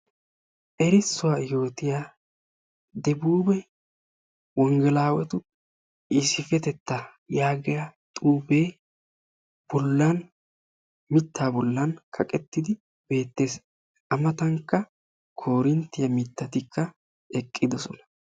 erissuwa yootiya debuube wongelaawetu issippetettaa yaagiya xuufe bollan mittaa bollan kaqettidi beettes. a matankka koorinttiya mittatikka eqqidosona.